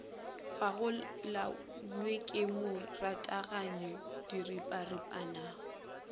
gagolanye ke mo rathaganye diripanaripana